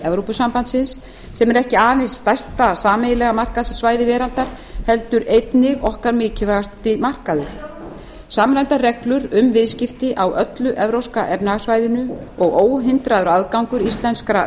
evrópusambandsins sem er ekki aðeins stærsta sameiginlega markaðssvæði veraldar heldur einnig okkar mikilvægasti markaður samræmdar reglur um viðskipti á öllu evrópska efnahagssvæðinu og óhindraður aðgangur íslenskra